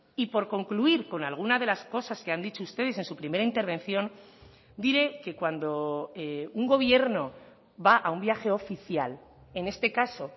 y por concluir con alguna de las cosas que han dicho ustedes en su primera intervención diré que cuando un gobierno va a un viaje oficial en este caso